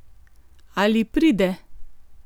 Ali pride?